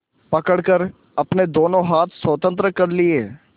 पकड़कर अपने दोनों हाथ स्वतंत्र कर लिए